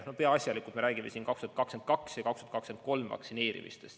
Peaasjalikult me räägime siin aastail 2022 ja 2023 vaktsineerimistest.